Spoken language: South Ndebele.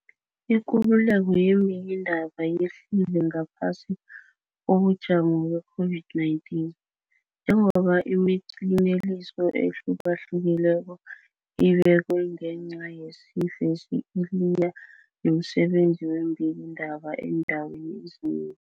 ikululeko yeembikiindaba yehlile ngaphasi kobujamo be-COVID-19, njengoba imiqinteliso ehlukahlukileko ebekwe ngenca yesifesi iliye nomsebenzi weembikiindaba eendaweni ezinengi.